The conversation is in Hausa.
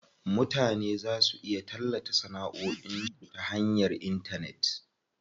Mutane za su iya tallata sanaʼoin su ya hanyar intanet.